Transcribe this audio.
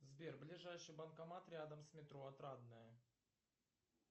сбер ближайший банкомат рядом с метро отрадное